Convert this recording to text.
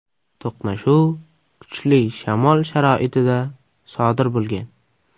To‘qnashuv kuchli shamol sharoitida sodir bo‘lgan.